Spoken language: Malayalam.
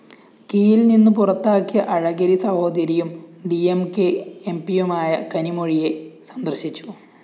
കീയില്‍ നിന്ന്പുറത്താക്കിയ അഴഗിരി സഹോദരിയും ഡി എം കെ എംപിയുമായ കനിമൊഴിയെ സന്ദര്‍ശിച്ചു